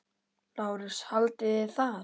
LÁRUS: Haldið þið það?